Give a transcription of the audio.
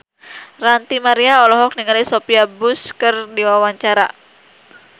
Ranty Maria olohok ningali Sophia Bush keur diwawancara